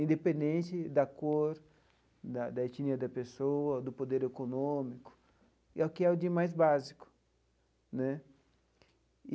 independente da cor, da etnia da da pessoa, do poder econômico, é o que é o de mais básico né.